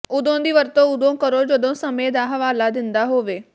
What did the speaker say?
ਉਦੋਂ ਦੀ ਵਰਤੋਂ ਉਦੋਂ ਕਰੋ ਜਦੋਂ ਸਮੇਂ ਦਾ ਹਵਾਲਾ ਦਿੰਦਾ ਹੋਵੇ